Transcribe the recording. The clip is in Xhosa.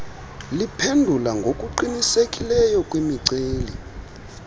liphendula ngokuqinisekileyo kwimiceli